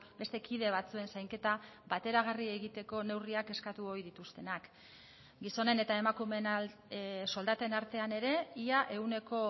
beste kide batzuen zainketa bateragarri egiteko neurriak eskatu ohi dituztenak gizonen eta emakumeen soldaten artean ere ia ehuneko